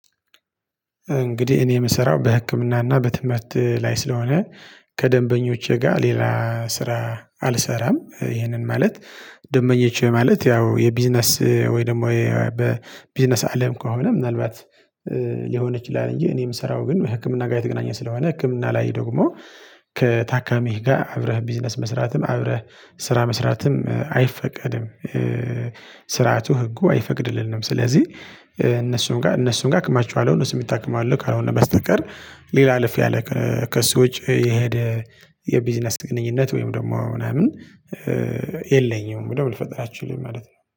እንግዲህ እኔ የምሰራው በህክምናና በትምህርት ላይ ስለሆነ ከደንበኞቼ ጋር ሌላ ስራ አልሰራም ይሄንን ማለት። ደንበኞቼ ማለት ያው የቢዝነስ ወይ ደግሞ በቢዝነስ አለም ከሆነ ምናልባት ሊሆነች ይላል እንጂ እኔ የምሰራው ግን ህክምና ጋር የተገናኘ ስለሆነ ህክምና ላይ ደግሞ ከታካሚህ ጋር አብረህ ቢዝነስ መስራትም አብረህ ስራ መስራትም አይፈቀድም። ስርዓቱ ህጉ አይፈቅድልንም ስለዚህ እነሱም ጋር እነሱም ጋር አክማቸወለሁ እነሱን ይታከማሉ ካልሆነ በስተቀር ሌላ አለፍ ያለ ከእሱ ውጪ የሄደ የቢዝነስ ግንኙነት ወይም ደግሞ ምናምን የለኝም። ደግሞ ልፈጥር አልችልም ማለት ነው